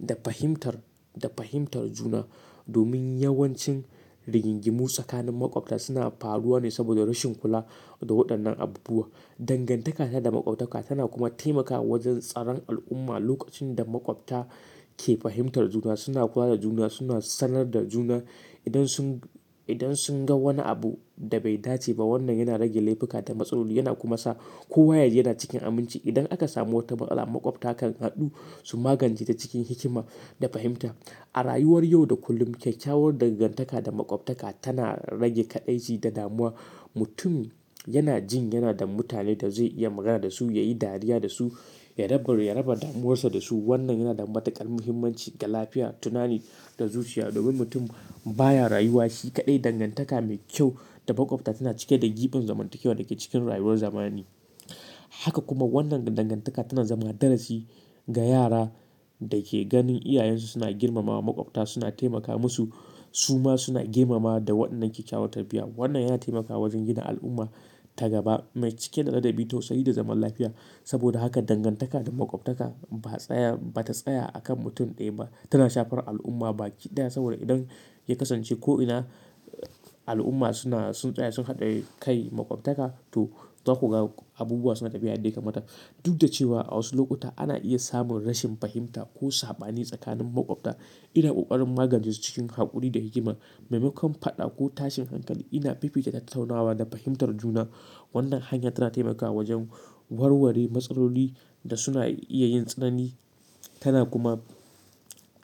da fahimtar, da fahimtar juna. Domin yawancin rigingimu tsakanin makwabta suna faruwa ne saboda rashin kula da waɗannan abubuwa. Dangantaka ta da makwabtaka tana kuma taimakawa wajen tsaron al'umma. Lokacin da makwabta ke fahimtar juna, suna kula da juna, suna sanar da juna idan sun, idan sun ga wani abu da bai dace ba. Wannan yana rage laifuka da matsaloli yana kuma sa kowa yaji yana cikin aminci. Idan aka samu wata matsala makwabta kan haɗu su magance ta cikin hikima da fahimta. A rayuwar yau da kullum kyakkyawar dangantaka da makwabtaka tana rage kaɗaici da damuwa. Mutum yana jin yana da mutane da zai iya magana da su, ya yi dariya da su, ya raba, ya raba damuwarsa da su. Wannan yana da matuƙar muhimmanci ga lafiya, tunani da zuciya. Domin mutum baya rayuwa shi kaɗai. Dangantaka mai kyau da makwabta tana cike da gibin zamantakewa da ke cikin rayuwar zamani. Haka kuma wannan dangantaka tana zama darasi ga yara da ke ganin iyayensu suna girmama makwabta, suna taimaka musu, su ma suna girma da wannan kyakkyawar tarbiyya. Wannan yana taimakawa wajen gina al'umma ta gaba mai cike da ladabi, tausayi da zaman lafiya. Saboda haka dangantaka da makwabtaka ba tsaya, ba ta tsaya a kan mutum ɗaya ba, tana shafar al'umma baki ɗaya. Saboda idan ya kasance ko'ina al'umma suna, sun tsaya, sun haɗa kai makwabtaka to za ku ga abubuwa suna tafiya yadda ya kamata. Duk da cewa a wasu lokuta ana iya samun rashin fahimta ko saɓani tsakanin makwabta, ina ƙoƙarin magance su cikin haƙuri da hikima. Mai makon faɗa ko tashin hankali ina fifita tattaunawa da fahimtar juna. Wannan hanya tana taimakawa wajen warware matsaloli da suna iya yin tsanani. Tana kuma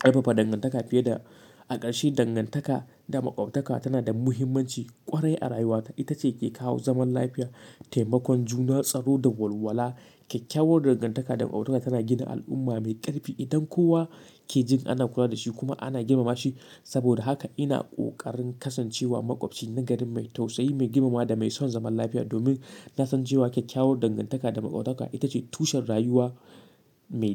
ƙarfafa dangantaka fiye. A ƙarshe, dangantaka da makwabtaka tana da muhimmanci ƙwarai a rayuwata. Ita ce ke kawo zaman lafiya, taimakon juna, tsaro da walwala. Kyakkyawar dangantaka da makwabtaka tana gina al'umma mai ƙarfi. Idan kowa ke jin ana kula da shi kuma ana girmama shi. Saboda haka ina ƙoƙarin kasancewa makwabci nagari mai tausayi, mai girmamawa da mai son zaman lafiya. Domin na san cewa kyakkyawar dangantaka da makwabtaka ita ce tushen rayuwa mai kyau.